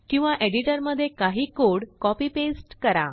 किंवाएडिटरमध्येकाही कोडकॉपीपेस्टकरा